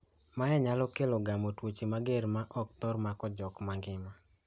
Mae nyalo kelo gamo tuoche mager ma ok thor mako jok ma ngima.